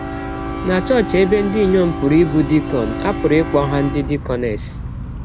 Na chọọchị ebe ndị inyọm pụrụ ịbụ dikọn, a pụrụ ịkpọ ha ndị dikọnes.